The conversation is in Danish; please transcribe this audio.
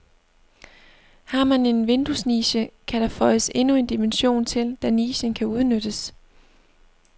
Har man en vinduesniche, kan der føjes endnu en dimension til, da nichen kan udnyttes.